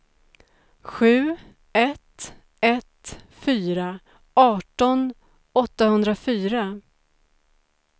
sju ett ett fyra arton åttahundrafyra